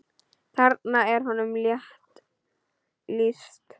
Þarna er honum rétt lýst.